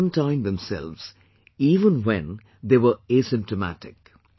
They have quarantined themselves even when they were asymptomatic